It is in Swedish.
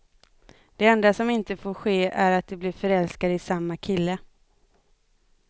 Det enda som inte får ske är att de blir förälskade i samma kille.